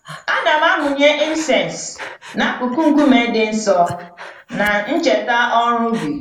Ana m amụnye incense n'akụkụ nkume dị nsọ, na ncheta ọrụ ubi